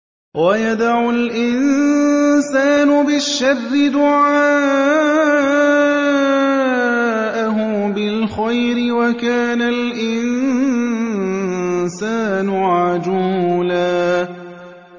وَيَدْعُ الْإِنسَانُ بِالشَّرِّ دُعَاءَهُ بِالْخَيْرِ ۖ وَكَانَ الْإِنسَانُ عَجُولًا